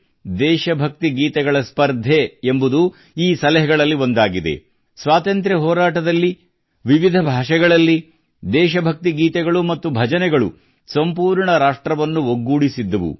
ದೇಶಭಕ್ತಿ ಗೀತೆಗಳ ಸ್ಪರ್ಧೆ ಎಂಬುದು ಈ ಸಲಹೆಗಳಲ್ಲಿ ಒಂದಾಗಿದೆ ಸ್ವಾತಂತ್ರ್ಯ ಹೋರಾಟದಲ್ಲಿ ವಿವಿಧ ಭಾಷೆಗಳಲ್ಲಿ ದೇಶಭಕ್ತಿ ಗೀತೆಗಳು ಮತ್ತು ಭಜನೆಗಳು ಸಂಪೂರ್ಣ ರಾಷ್ಟ್ರವನ್ನು ಒಗ್ಗೂಡಿಸಿದ್ದವು